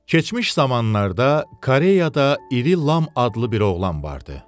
Keçmiş zamanlarda Koreyada iri Lam adlı bir oğlan vardı.